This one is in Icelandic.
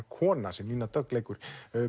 kona sem Nína Dögg leikur